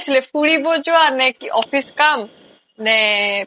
ফুৰিব যোৱা নে কি office কাম নে